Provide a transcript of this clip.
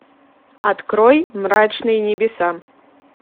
открой мрачные небеса